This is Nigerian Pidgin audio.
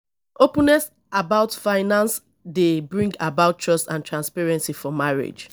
openness about finance dey bring about trust and transparency for marriage